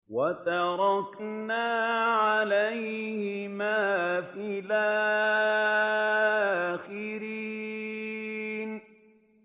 وَتَرَكْنَا عَلَيْهِمَا فِي الْآخِرِينَ